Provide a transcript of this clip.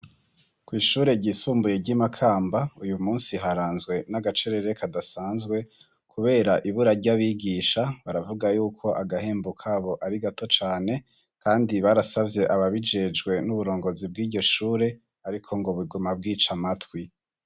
Kw'ishure ryisumbuye ry'i Makamba, uyu musi haranzwe n'agacerere kadasanzwe kubera ibura ry'abigihisha, baravuga yuko agahembo kabo ari gato cane kandi barasavye ababijejwe n'uburongozi bw'iryo shure ariko ngo biguma bwica matwi.